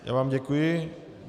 Já vám děkuji.